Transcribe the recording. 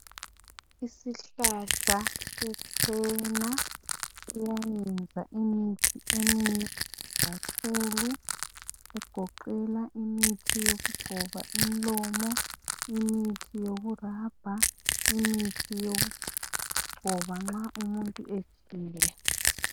Isihlahla se cena sizayenza imithi eminengi kakhulu egoqela imithi yokugcoba umlomo imithi yoku rubber. Imithi yokugcoba nxa umuntu efile.